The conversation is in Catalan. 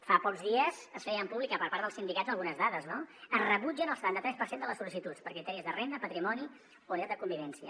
fa pocs dies es feien públiques per part dels sindicats algunes dades no es rebutgen el setanta tres per cent de les sol·licituds per criteris de renda patrimoni o unitat de convivència